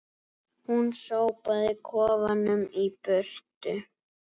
Hún sópaði kofanum í burtu